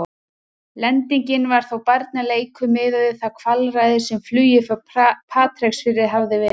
Lendingin var þó barnaleikur miðað við það kvalræði sem flugið frá Patreksfirði hafði verið.